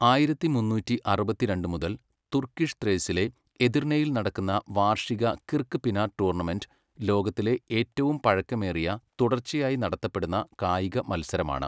ആയിരത്തി മുന്നൂറ്റിയറുപത്തി രണ്ട് മുതൽ തുർക്കിഷ് ത്രേസിലെ എദിർനെയിൽ നടക്കുന്ന വാർഷിക കിർക്ക്പിനാർ ടൂർണമെന്റ് ലോകത്തിലെ ഏറ്റവും പഴക്കമേറിയ തുടർച്ചയായി നടത്തപെടുന്ന കായിക മത്സരമാണ്.